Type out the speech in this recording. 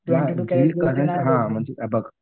Twenty two carat नाही भेटत.